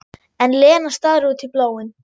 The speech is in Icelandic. En Lena starir út í bláinn.